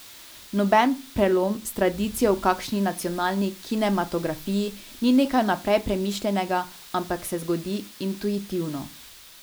Noben prelom s tradicijo v kakšni nacionalni kinematografiji ni nekaj vnaprej premišljenega, ampak se zgodi intuitivno.